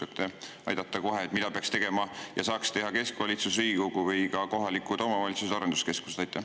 Äkki te oskate aidata ja kohe öelda, mida peaks tegema ja saaks teha keskvalitsus, Riigikogu või ka kohalikud omavalitsused ja arenduskeskused?